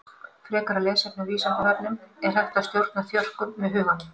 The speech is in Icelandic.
Frekara lesefni á Vísindavefnum Er hægt að stjórna þjörkum með huganum?